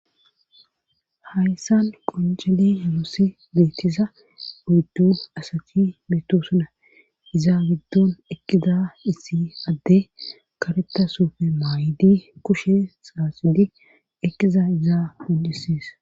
hayssan qonjeli yunoosi beetiza oyddu asati meeto suna iza giddon ekida issi adde kareta sufe maayidi kushe saaxidi ekiza izaa beesses